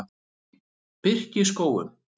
Birkiskógum